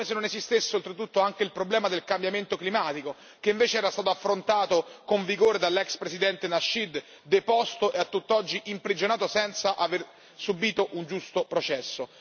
come se non esistesse oltretutto anche il problema del cambiamento climatico che invece era stato affrontato con vigore dall'ex presidente Nasheed, deposto e a tutt'oggi imprigionato senza aver subito un giusto processo.